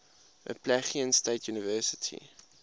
appalachian state university